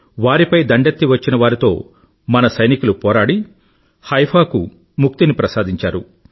వారిపై దండెత్తి వచ్చినవారితో మన వీర సైనికులు పోరాడి హైఫా కు ముక్తిని ప్రసాదించారు